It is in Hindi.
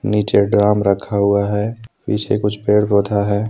नीचे ड्राम रखा हुआ है पीछे कुछ पेड़ पौधा है।